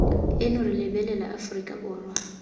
eno re lebelela aforika borwa